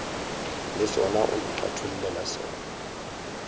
le sona o ntlhathollele sona